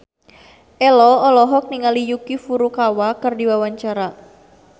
Ello olohok ningali Yuki Furukawa keur diwawancara